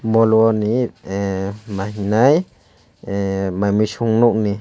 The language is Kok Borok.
molo ni ahh mahennai mai mui sog nog ni.